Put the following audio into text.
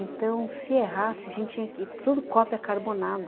Então, se errasse, a gente tinha que... tudo cópia carbonada.